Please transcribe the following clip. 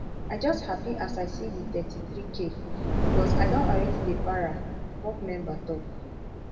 i just happy as i see di thirty-threek bicos i don already dey para di corps member tok